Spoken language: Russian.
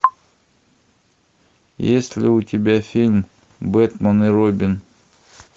есть ли у тебя фильм бэтмен и робин